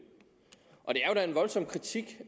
er da en voldsom kritik